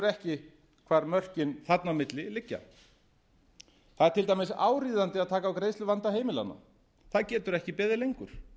ekki hvar mörkin þarna á milli liggja það er til dæmis áríðandi að taka á greiðsluvanda heimilanna á getur ekki beðið lengur